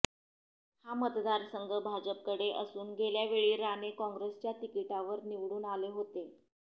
हा मतदारसंघ भाजपाकडे असून गेल्यावेळी राणे काँग्रेसच्या तिकिटावर निवडून आले होते